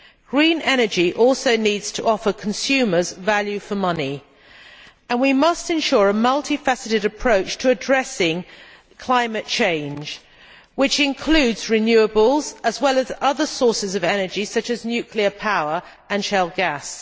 Green energy also needs to offer consumers value for money. We must ensure a multifaceted approach to addressing climate change which includes renewables, as well as other sources of energy such as nuclear power and shale gas.